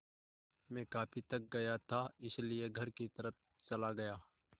मैं काफ़ी थक गया था इसलिए घर की तरफ़ चला गया